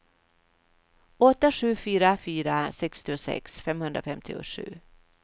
åtta sju fyra fyra sextiosex femhundrafemtiosju